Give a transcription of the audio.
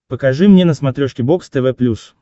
покажи мне на смотрешке бокс тв плюс